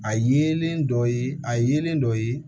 A yelen dɔ ye a yelen dɔ ye